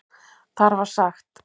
Þar var sagt